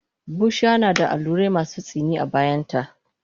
Bushiya nada allurai masu tsini a bayanta